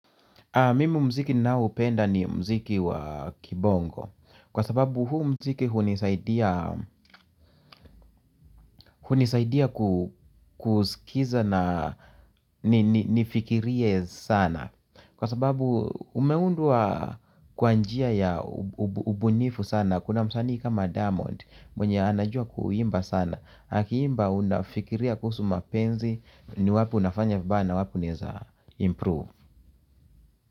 Mimi muziki ninao upenda ni muziki wa kibongo. Kwa sababu huu mziki hunisaidia kusikiliza na nifikirie sana. Kwa sababu umeundwa kwanjia ya ubunifu sana. Kuna msanii kama diamond mwenye anajua kuimba sana. Akiimba unafikiria kuhusu mapenzi ni wapi unafanya vibaya wapi unaweza improve.